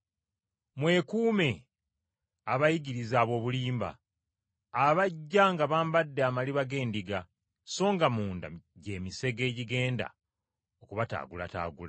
“Mwekuume abayigiriza ab’obulimba, abajja nga bambadde amaliba g’endiga, songa munda gy’emisege egigenda okubataagulataagula.